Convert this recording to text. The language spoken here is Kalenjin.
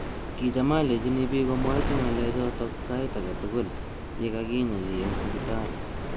Kicham alecheini bik omwaite ngalek chotok. sait age tugul yekakinya chi eng sipitali.